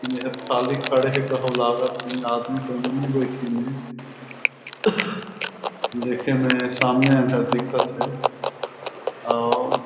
एहर खाली खड़े हे कहूं लागत हे आदमी एमे बइठिन हे देखे में सामने कस दिखत हे आउ--